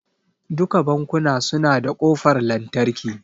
Duka bankuna su na da kofar lantarki